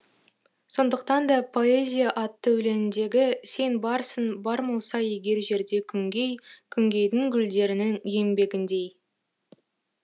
сондықтан да поэзия атты өлеңіндегі сен барсың бар болса егер жерде күнгей күнгейдің гүлдерінің еңбегіндей